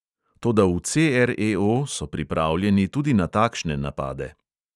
Toda v CREO so pripravljeni tudi na takšne napade.